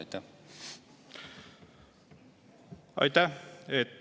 Aitäh!